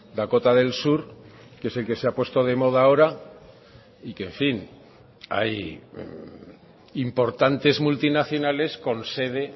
dakota del sur que es el que se ha puesto de moda ahora y que en fin hay importantes multinacionales con sede